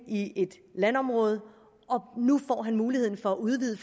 i et landområde nu mulighed for at udvide